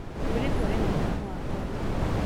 mũirĩtu arĩ na mũrĩmũ wa ngothi